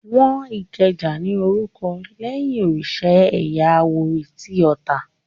Wọ́n Ìkẹjà ní orúkọ lẹ́yìn òrìsà ẹ̀yà àwórì tí Ota